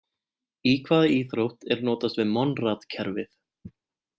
Í hvaða íþrótt er notast við Monrad-kerfið?